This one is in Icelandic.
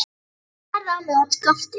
Hann starði á mig og gapti.